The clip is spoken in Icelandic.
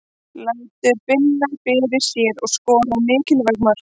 Lætur finna fyrir sér og skorar mikilvæg mörk.